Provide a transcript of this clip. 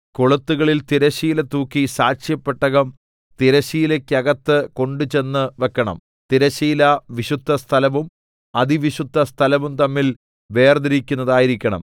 കൊളുത്തുകളിൽ തിരശ്ശീല തൂക്കി സാക്ഷ്യപ്പെട്ടകം തിരശ്ശീലയ്ക്കകത്ത് കൊണ്ടുചെന്ന് വെക്കണം തിരശ്ശീല വിശുദ്ധസ്ഥലവും അതിവിശുദ്ധസ്ഥലവും തമ്മിൽ വേർതിരിക്കുന്നതായിരിക്കണം